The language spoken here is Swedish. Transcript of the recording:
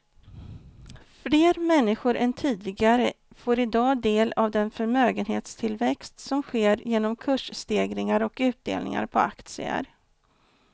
Fler människor än tidigare får i dag del av den förmögenhetstillväxt som sker genom kursstegringar och utdelningar på aktier.